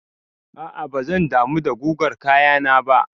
A'a bazan damu da gugar kayana ba.